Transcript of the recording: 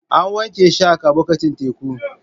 An wanke shark a bakin teku.